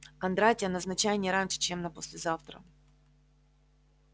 кондратия назначай не раньше чем на послезавтра